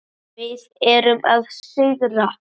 Við erum að sigra.